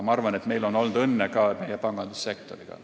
Ma arvan, et meil on olnud õnne ka meie pangandussektoriga.